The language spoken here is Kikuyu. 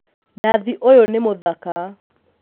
Nathi ũyũ nĩ mũthaka